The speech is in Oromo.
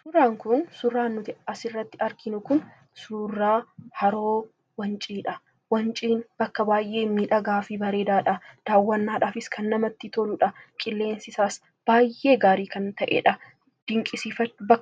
Suuraan kun suuraan asirratti arginu suuraa haroo wanciidha. Wanciin bakka baay'ee miidhagaa fi bareedaadha. Daawwannaadhaafis kan namatti toludha. Qilleensisaas kan baay'ee bareedaa ta'edha